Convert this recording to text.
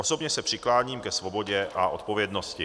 Osobně se přikláním ke svobodě a odpovědnosti.